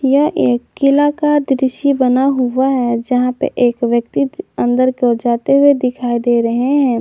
यह एक किला का दृश्य बना हुआ है जहां पर एक व्यक्ति अंदर की ओर जाते हुए दिखाई दे रहे हैं।